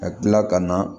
Ka kila ka na